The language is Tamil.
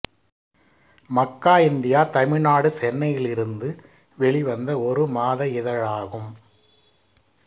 மக்கா இந்தியா தமிழ்நாடு சென்னையிலிலிருந்து வெளிவந்த ஒரு மாத இதழாகும்